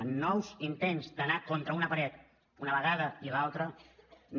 en nous intents d’anar contra una paret una vegada i l’altra no